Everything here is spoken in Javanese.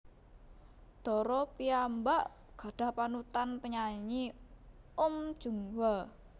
Dara piyambak gadhah panutan penyanyi Uhm Jung Hwa